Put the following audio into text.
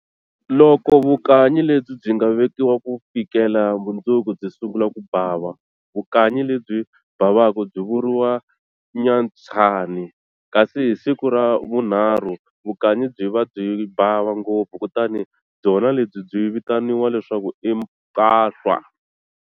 Loko vukanyi lebyi byi nga vekiwa ku fikela mundzuku byi sungula ku bava, vukanyi lebyi bavaka byi vuriwa nyatshani, kasi hi siku ra vunharhu vukanyi byi va byi bava ngopfu, kutani byona lebyi byi vitaniwa leswaku i mpahlwa.